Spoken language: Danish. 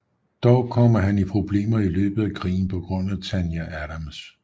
Dog kommer han i problemer i løbet af krigen på grund af Tanya Adams